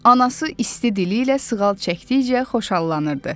Anası isti dili ilə sığal çəkdikcə xoşallanırdı.